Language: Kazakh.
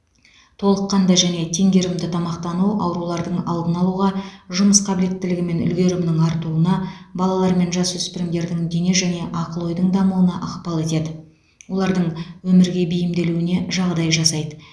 толыққанды және теңгерімді тамақтану аурулардың алдын алуға жұмыс қабілеттілігі мен үлгерімінің артуына балалар мен жасөспірімдердің дене және ақыл ойдың дамуына ықпал етеді олардың өмірге бейімделуіне жағдай жасайды